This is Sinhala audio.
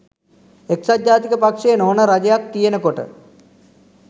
එක්සත් ජාතික පක්ෂය නොවන රජයක් තියෙනකොට